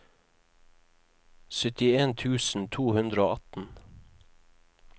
syttien tusen to hundre og atten